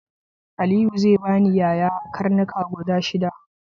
Aliyu zai bani yaya karnuka guda shida.